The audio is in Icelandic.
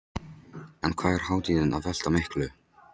En hvað er hátíðin að velta miklu?